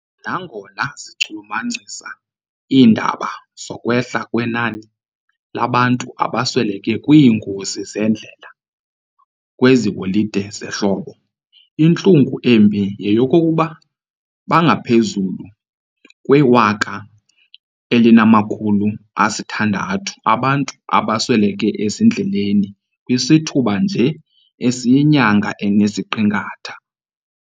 Nangona zichulumancisa iindaba zokwehla kwenani labantu abasweleke kwiingozi zendlela kwezi holide zehlobo, intlungu embi yeyokuba bangaphezulu kwe-1,600 abantu abasweleke ezindleleni kwisithuba nje esiyinyanga enesiqingatha.